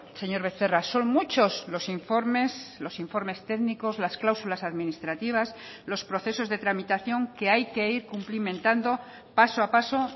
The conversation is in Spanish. señor becerra son muchos los informes los informes técnicos las cláusulas administrativas los procesos de tramitación que hay que ir cumplimentando paso a paso